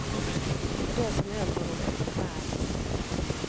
Och det som hänt honom är förfärligt.